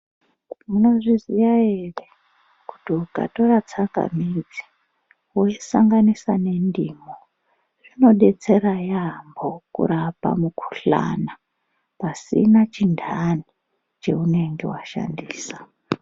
Munozviziya ere kuti ukatora tsangamidzi woisanganisa nendimu zvinodetsera yaamho kurapa mukhuhlani pasina chinhani chaunenge washandisa.